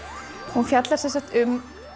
hún fjallar sem sagt um